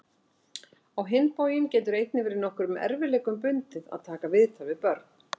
Á hinn bóginn getur einnig verið nokkrum erfiðleikum bundið að taka viðtöl við börn.